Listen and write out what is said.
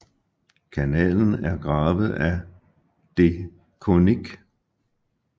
Kanalen er gravet af de Coninck